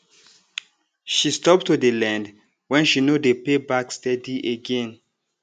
she stop to dey lend when she no dey pay back steady again